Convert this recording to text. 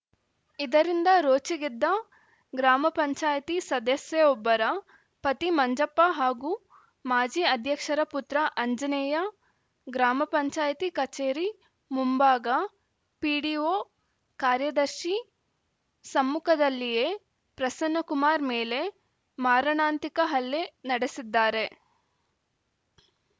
ಇದರಿಂದ ರೋಚಿಗೆದ್ದ ಗ್ರಾಮ ಪಂಚಾಯತಿ ಸದಸ್ಯೆಯೊಬ್ಬರ ಪತಿ ಮಂಜಪ್ಪ ಹಾಗೂ ಮಾಜಿ ಅಧ್ಯಕ್ಷರ ಪುತ್ರ ಅಂಜನೆಯ ಗ್ರಾಮ ಪಂಚಾಯತಿ ಕಚೇರಿ ಮುಂಭಾಗ ಪಿಡಿಓ ಕಾರ್ಯದರ್ಶಿ ಸಮ್ಮುಖದಲ್ಲಿಯೆ ಪ್ರಸನ್ನಕುಮಾರ್‌ ಮೇಲೆ ಮಾರಣಾಂತಿಕ ಹಲ್ಲೆ ನಡೆಸಿದ್ದಾರೆ